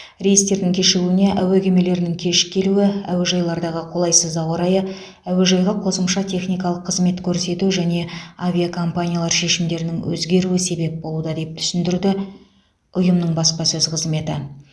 рейстердің кешігуіне әуе кемелерінің кеш келуі әуежайлардағы қолайсыз ауа райы әуежайға қосымша техникалық қызмет көрсету және авиакомпаниялар шешімдерінің өзгеруі себеп болуда деп түсіндірді ұйымның баспасөз қызметі